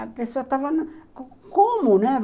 A pessoa estava... Como, né?